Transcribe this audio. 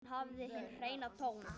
Hún hafði hinn hreina tón.